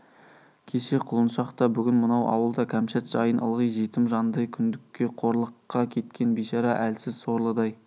кеше құлыншақ та бүгін мынау ауыл да кәмшат жайын ылғи жетім жандай күңдікке қорлыққа кеткен бишара әлсіз сорлыдай